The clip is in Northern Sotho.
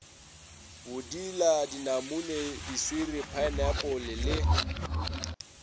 bodila dinamune diswiri phaenapole le